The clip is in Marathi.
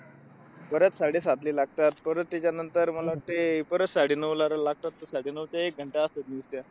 परत साडेसातला लागतात आणि परत त्याच्यानंतर मग मला वाटतंय अह ते साडेनऊला लागतात. साडेनऊ ते एक असते news ते.